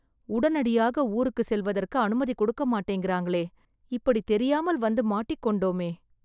உடனடியாக ஊருக்குச் செல்வதற்கு அனுமதி கொடுக்க மாட்டேங்கிறாங்களே.. இப்படி தெரியாமல் வந்து மாட்டிக்கொண்டோமே